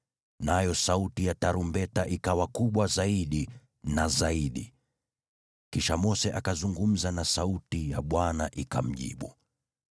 nayo sauti ya tarumbeta ikawa kubwa zaidi na zaidi. Kisha Mose akazungumza na sauti ya Bwana ikamjibu.